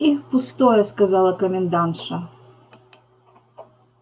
и пустое сказала комендантша